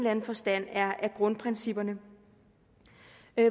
anden forstand er grundprincipperne